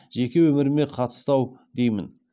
жеке өміріме қатысты ау деи мін